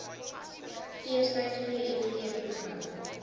feestyd vft program